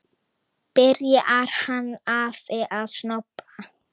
Byrjar hann afi að snobba!